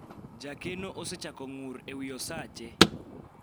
jakeno osechako ng'ur ewi osache